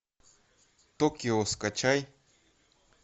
токио скачай